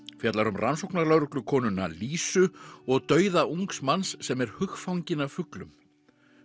fjallar um Lísu og dauða ungs manns sem er hugfanginn af fuglum